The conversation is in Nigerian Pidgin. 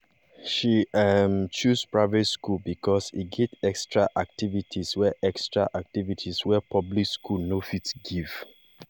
she um choose private school because e get extra activities wey extra activities wey public school no fit give